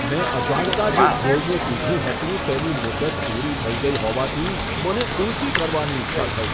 મેં અજાણતાં જે ઘોળવું પીધું હતું, તેની મુદત પૂરી થઈ ગઈ હોવાથી, મને ઉલટી થવાની ઈચ્છા થઈ.